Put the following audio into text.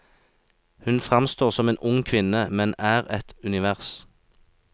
Hun fremstår som en ung kvinne, men er et univers.